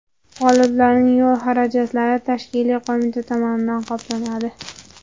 G‘oliblarning yo‘l xarajatlari tashkiliy qo‘mita tomonidan qoplanadi.